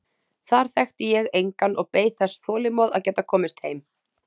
Þar þekkti ég engan og beið þess þolinmóð að geta komist heim.